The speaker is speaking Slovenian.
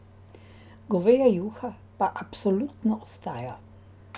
Goveja juha pa absolutno ostaja.